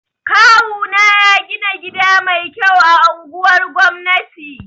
Kawu na ya gina gida mai kyau a anguwar gwamnati